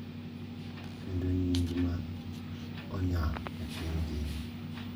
Kendo en nying ma onya e piny ngima.